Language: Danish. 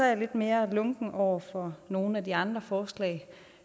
jeg lidt mere lunken over for nogle af de andre forslag